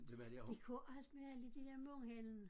De kunne alt med alle de der mundheld